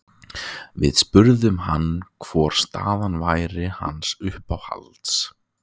Við spurðum hann hvor staðan væri hans uppáhalds?